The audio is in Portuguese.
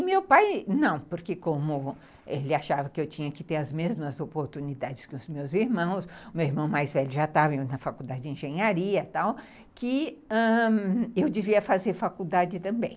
E meu pai não, porque como ele achava que eu tinha que ter as mesmas oportunidades que os meus irmãos, o meu irmão mais velho já estava indo na faculdade de engenharia e tal, que ãh eu devia fazer faculdade também.